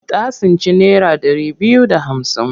Ta tsinci naira ɗari biyu da hamsin.